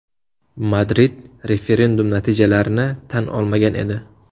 Madrid referendum natijalarini tan olmagan edi.